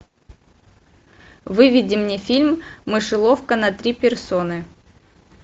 выведи мне фильм мышеловка на три персоны